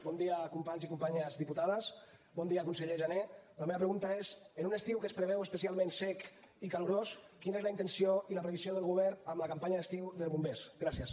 bon dia companys i companyes diputades bon dia conseller jané la meva pregunta és en un estiu que es preveu especialment sec i calorós quina és la intenció i la previsió del govern amb la campanya d’estiu de bombers gràcies